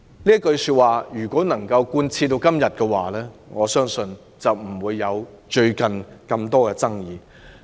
"這句話如能貫徹至今，我相信就不會出現最近的種種爭議。